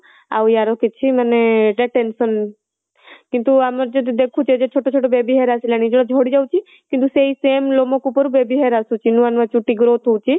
ଆଉ ୟାର କିଛି ମାନେ ଏଇଟା tension କିନ୍ତୁ ଆମର ଯଦି ଦେଖୁଛେ ଯଦି ଛୋଟ ଛୋଟ baby hair ଆସିଲାଣି ଯୋଉ ଝଡ଼ିଯାଉଛି କିନ୍ତୁ ସେ same ଲୋମକୂପ ରୁ baby hair ଆସୁଛି ନୂଆ ନୂଆ ଚୁଟି growth ହଉଚି